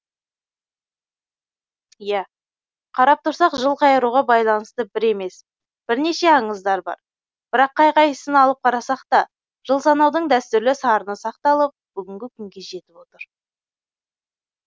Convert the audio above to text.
иә қарап тұрсақ жыл қайыруға байланысты бір емес бірнеше аңыздар бар бірақ қай қайсысын алып қарасақ та жыл санаудың дәстүрлі сарыны сақталып бүгінгі күнге жетіп отыр